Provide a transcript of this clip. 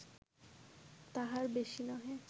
-তাহার বেশি নহে